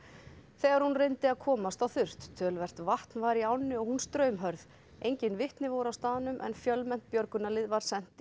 þegar hún reyndi að komast á þurrt töluvert vatn var í ánni og hún straumhörð enginn vitni voru á staðnum en fjölmennt björgunarlið var sent